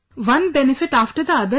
One benefit after the other sir